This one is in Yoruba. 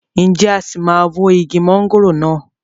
Ǹjẹ́ a sì máa wó igi mọ̀ngòrò náà?